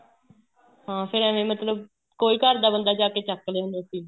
ਹਾਂ ਫ਼ੇਰ ਐਵੇਂ ਮਤਲਬ ਕੋਈ ਘਰ ਦਾ ਬੰਦਾ ਜਾਕੇ ਚੱਕ ਲਿਆਂਦਾ ਸੀ